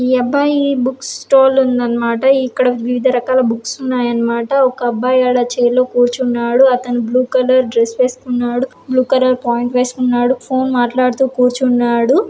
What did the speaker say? ఈ అబ్బాయి book stall ఉందన్న మాట .ఇక్కడ వివిధ రకాల బుక్స్ ఉన్నాయన్న మాట. ఒక అబ్బాయి గాడు ఆ చైర్ లో కూర్చున్నాడ. అతను బ్లూ కలర్ డ్రస్ వేసుకున్నాడు. బ్లూ కలర్ పాయింట్ వేసుకున్నాడు. ఫోన్ మాట్లాడుతూ కూర్చున్నాడు.